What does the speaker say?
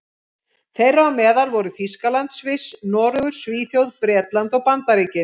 Þeirra á meðal voru Þýskaland, Sviss, Noregur, Svíþjóð, Bretland og Bandaríkin.